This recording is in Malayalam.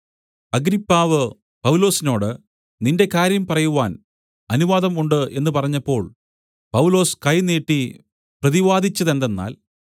അഗ്രിപ്പാവ് പൗലൊസിനോട് നിന്റെ കാര്യം പറയുവാൻ അനുവാദം ഉണ്ട് എന്നു പറഞ്ഞപ്പോൾ പൗലൊസ് കൈ നീട്ടി പ്രതിവാദിച്ചതെന്തെന്നാൽ